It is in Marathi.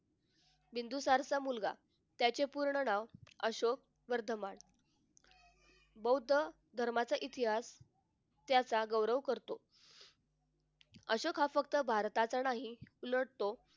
बिंदुसारचा मुलगा त्याचे पूर्ण नाव अशोक वर्धमान बौद्ध धर्माचा इतिहास त्याच्यामुळे उघडतो अशोक हा फक्त भारतातच नाही तर तो